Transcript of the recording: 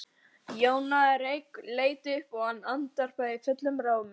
Jón náði reyk, leit upp og ávarpaði hann fullum rómi.